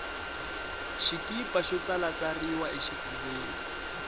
xikipa xo tsalatsariwa xifuveni